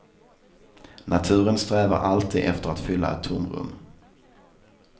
Naturen strävar alltid efter att fylla ett tomrum.